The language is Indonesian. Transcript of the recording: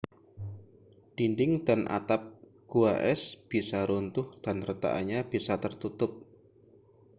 dinding dan atap gua es bisa runtuh dan retakannya bisa tertutup